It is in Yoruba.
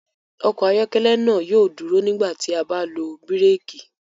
Ọkọ ayọkẹlẹ naa yóò duro nigbati a ba lo biréki.